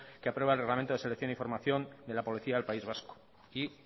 que aprueba el reglamento de selección y formación de la policía del país vasco y